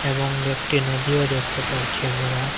এবং একটি নদীও দেখতে পারছি আমরা।